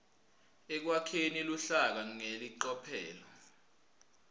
ekwakheni luhlaka ngelicophelo